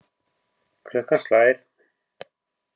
Klukkan slær.